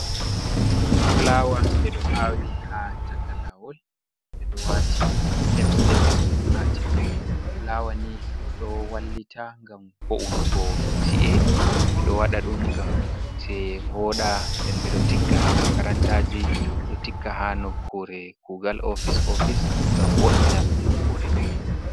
Fulawa ɓe ɗo awi ha chaka lawol ɓe ɗo wati capes capes ɓe ɗo ati ɗum, fulawa ni ɗo wallita ngam bo’unugo ci’e, be ɗo waɗa ɗum ngam ce'i voɗa, nden ɓe ɗo tigga ha makarantaji, ɓe ɗo tigga ha nokkure kugal ofice office ngam wo’ina nokkure.